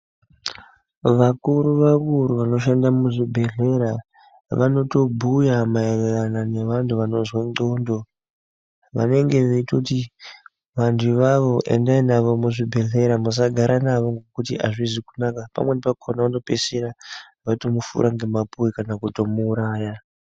Vakuru vakuru vanoshanda muzvibhedhlera vanotobhuya maererano nevanhu vanozwe ndxondo vanenge veitoti vantu avavo endai navo muzvibhedhlera musagara nawo futi azvizi kunaka vanopedzesera vamufura ngemapuwe kana kumuuraya.